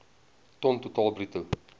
ton totaal bruto